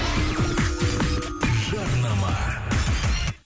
жарнама